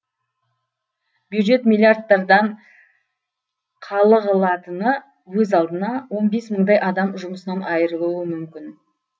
бюджет миллирадттардан қалығылатыны өз алдына он бес мыңдай адам жұмысынан айырылуы мүмкін